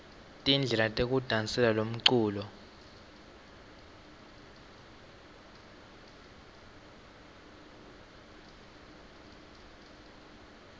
tindlela tekudasela lomculo